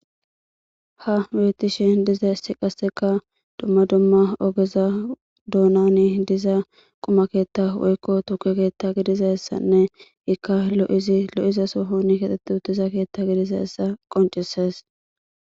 Ha weetishe diza issi qasseka dumma dumma ogeza duonani diza qumakeetta woykko tuke keetta gidiza essanne ikka lo'izi lo'iza sohon kaxetti uttiza keetta gidiza essa qoncises.